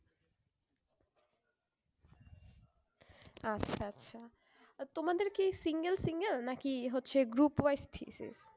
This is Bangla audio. আচ্ছা আচ্ছা তোমাদের কি single single না কি হচ্ছে group wise thesis